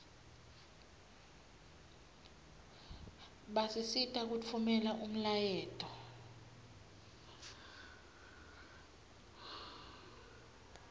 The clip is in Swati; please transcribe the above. basisita kutfumela umlayeto